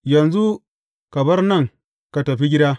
Yanzu ka bar nan ka tafi gida!